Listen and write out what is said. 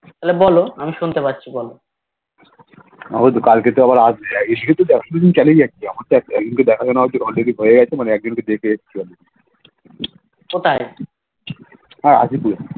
তাহলে বলো আমি শুনতে পাচ্ছি বলো কোথায়